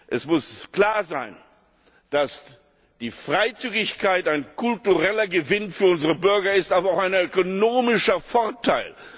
Es muss klar sein, dass die Freizügigkeit ein kultureller Gewinn für unsere Bürger ist, aber auch ein ökonomischer Vorteil.